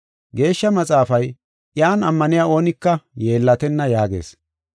Geeshsha Maxaafay, “Iyan ammaniya oonika yeellatenna” yaagees.